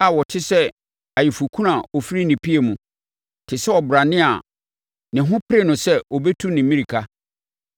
a ɔte sɛ ayeforɔkunu a ɔfiri ne pia mu, te sɛ ɔbrane a ne ho pere no sɛ ɔbɛtu ne mmirika.